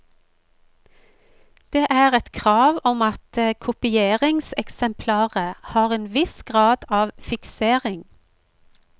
Det er et krav om at kopieringseksemplaret har en viss grad av fiksering.